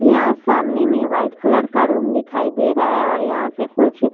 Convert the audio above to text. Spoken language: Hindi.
यहाँ सामने में वाइट कलर का रूम दिखाई दे रहा है और यहाँ पे कुछ --